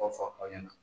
fɔ aw ɲɛna